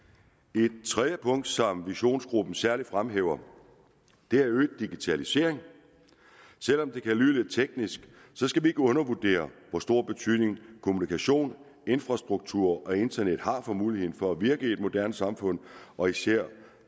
et tredje punkt som visionsgruppen særlig fremhæver er øget digitalisering selv om det kan lyde lidt teknisk skal vi ikke undervurdere hvor stor betydning kommunikation infrastruktur og internet har for muligheden for at virke i et moderne samfund og især